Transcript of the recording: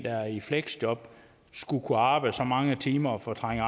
er i fleksjob skulle kunne arbejde så mange timer og fortrænge